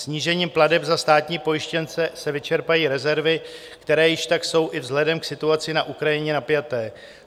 Snížením plateb za státní pojištěnce se vyčerpají rezervy, které již tak jsou i vzhledem k situaci na Ukrajině napjaté.